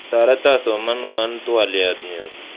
Toreto somawon twaliotnyu